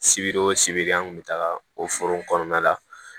Sibiri o sibiri an kun be taga o foro kɔnɔna la